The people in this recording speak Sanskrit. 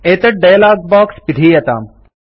एतत् डयलाग बाक्स पिधीयताम्